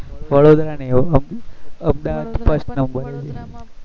વડોદરા નહી હો Ahmedabad first number છે હો